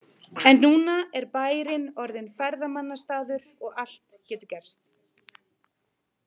En núna er bærinn orðinn ferðamannastaður og allt getur gerst.